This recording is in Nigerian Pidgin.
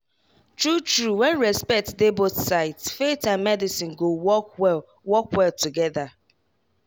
true true when respect dey both sides faith and medicine go work well work well together.